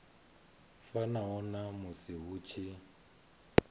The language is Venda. fanaho na musi hu tshi